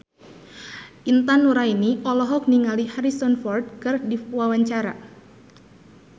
Intan Nuraini olohok ningali Harrison Ford keur diwawancara